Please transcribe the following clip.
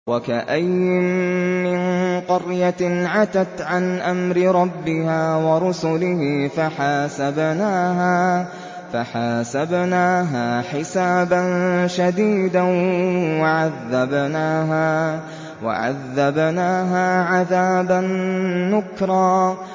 وَكَأَيِّن مِّن قَرْيَةٍ عَتَتْ عَنْ أَمْرِ رَبِّهَا وَرُسُلِهِ فَحَاسَبْنَاهَا حِسَابًا شَدِيدًا وَعَذَّبْنَاهَا عَذَابًا نُّكْرًا